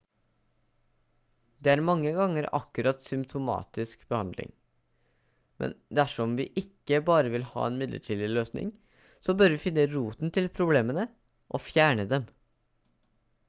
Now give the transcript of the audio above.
dette er mange ganger akkurat som symptomatisk behandling men dersom vi ikke bare vil ha en midlertidig løsning så bør vi finne roten til problemene og fjerne dem